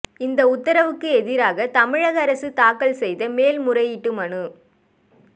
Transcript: இந்த உத்தரவுக்கு எதிராக தமிழக அரசு தாக்கல் செய்த மேல்முறையீட்டு மனு